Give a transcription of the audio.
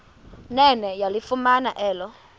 nene yalifumana elo